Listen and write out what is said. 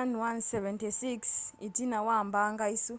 ii-76s itina wa mbanga isu